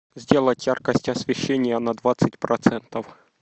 сделать яркость освещения на двадцать процентов